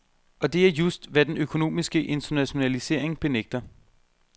Og det er just, hvad den økonomiske internationalisering benægter.